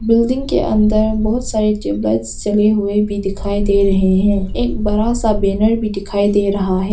Building के अंदर बहोत सारी ट्यूबलाइट जले हुए भी दिखाई दे रहे हैं एक बड़ा सा बैनर भी दिखाई दे रहा है।